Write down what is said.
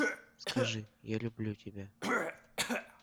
скажи я люблю тебя